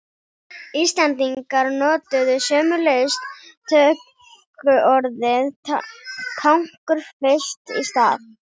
Íslendingar notuðu sömuleiðis tökuorðið tankur fyrst í stað.